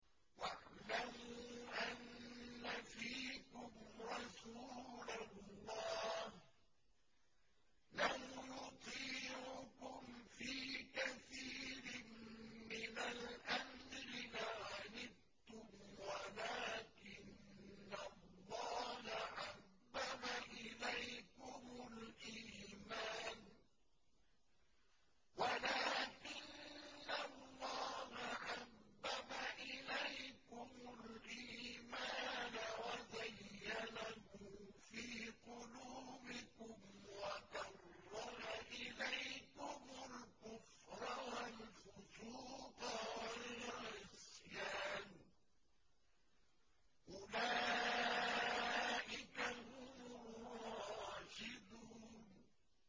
وَاعْلَمُوا أَنَّ فِيكُمْ رَسُولَ اللَّهِ ۚ لَوْ يُطِيعُكُمْ فِي كَثِيرٍ مِّنَ الْأَمْرِ لَعَنِتُّمْ وَلَٰكِنَّ اللَّهَ حَبَّبَ إِلَيْكُمُ الْإِيمَانَ وَزَيَّنَهُ فِي قُلُوبِكُمْ وَكَرَّهَ إِلَيْكُمُ الْكُفْرَ وَالْفُسُوقَ وَالْعِصْيَانَ ۚ أُولَٰئِكَ هُمُ الرَّاشِدُونَ